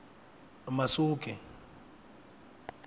masuke